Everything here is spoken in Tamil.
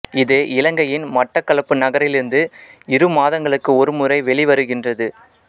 இது இலங்கையின் மட்டக்களப்பு நகரிலிருந்து இரு மாதங்களுக்கு ஒரு முறை வெளிவருகின்றது